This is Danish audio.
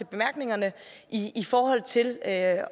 bemærkningerne i forhold til at